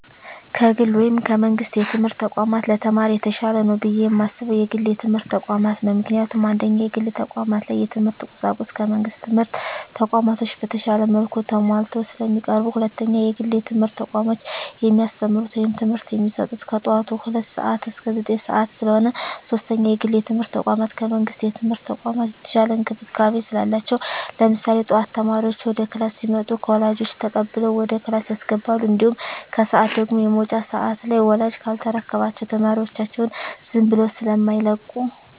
ከግል ወይም ከመንግስት የትምህርት ተቋማት ለተማሪ የተሻለ ነው ብየ የማስበው የግል የትምህርት ተቋማትን ነው። ምክንያቱም፦ 1ኛ, የግል ተቋማት ላይ የትምህርት ቁሳቁሱ ከመንግስት ትምህርት ተቋማቶች በተሻለ መልኩ ተማሟልተው ስለሚቀርቡ። 2ኛ, የግል የትምህርት ተቋሞች የሚያስተምሩት ወይም ትምህርት የሚሰጡት ከጠዋቱ ሁለት ሰዓት እስከ ዘጠኝ ሰዓት ስለሆነ። 3ኛ, የግል የትምርት ተቋም ከመንግስት የትምህርት ተቋም የተሻለ እንክብካቤ ስላላቸው። ለምሳሌ ጠዋት ተማሪዎች ወደ ክላስ ሲመጡ ከወላጆች ተቀብለው ወደ ክላስ ያስገባሉ። እንዲሁም ከሰዓት ደግሞ የመውጫ ሰዓት ላይ ወላጅ ካልተረከባቸው ተማሪዎቻቸውን ዝም ብለው ስማይለቁ።